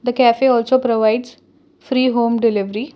the cafe also provides free home delivery.